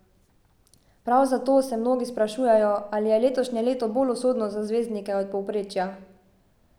Prav zato se mnogi sprašujejo, ali je letošnje leto bolj usodno za zvezdnike od povprečja.